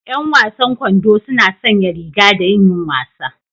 Yan wasan kwando suna sanya riga don yin wasa